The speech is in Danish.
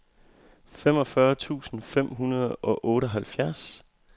femogfyrre tusind fem hundrede og otteoghalvfjerds